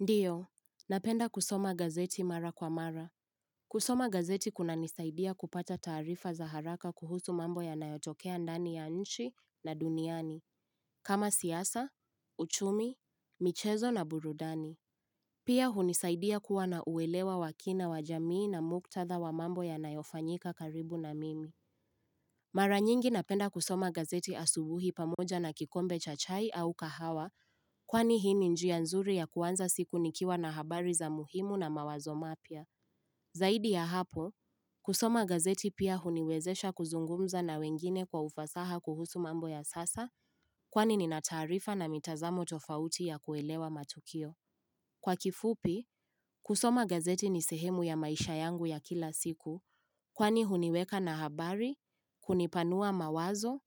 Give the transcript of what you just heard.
Ndiyo, napenda kusoma gazeti mara kwa mara. Kusoma gazeti kunanisaidia kupata taarifa za haraka kuhusu mambo yanayotokea ndani ya nchi na duniani, kama siasa, uchumi, michezo na burudani. Pia hunisaidia kuwa na uwelewa wa kina wa jamii na muktadha wa mambo yanayofanyika karibu na mimi. Mara nyingi napenda kusoma gazeti asubuhi pamoja na kikombe cha chai au kahawa kwani hii ni njia nzuri ya kuanza siku nikiwa na habari za muhimu na mawazo mapya. Zaidi ya hapo, kusoma gazeti pia huniwezesha kuzungumza na wengine kwa ufasaha kuhusu mambo ya sasa kwani ni nataarifa na mitazamo tofauti ya kuelewa matukio. Kwa kifupi, kusoma gazeti nisehemu ya maisha yangu ya kila siku kwani huniweka na habari, kunipanua mawazo